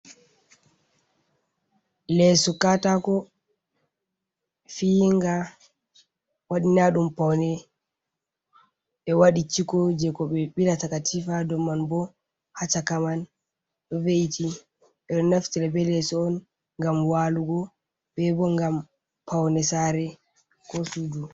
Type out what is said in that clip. Leso katako fiinga wadina ɗum paune be waɗi ciko je ko be bilata katifa dow man, bo ha caka man ɗo veiti ɓe ɗo neftere be leso on ngam walugo, ɓe bo ngam paune saare ko suudu.